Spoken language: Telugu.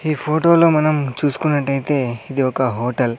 ఈ ఫోటోలో మనం చూసుకున్నట్టయితే ఇది ఒక హోటల్ .